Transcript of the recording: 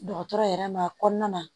Dɔgɔtɔrɔ yɛrɛ ma kɔnɔna na